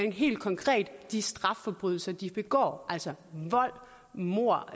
er helt konkret de strafforbrydelser de begår altså vold mord